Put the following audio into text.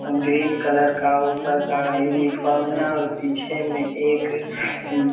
green colour का ऊपर का यूनीफम है और पीछे में एक उ --